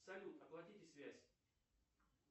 салют оплатите связь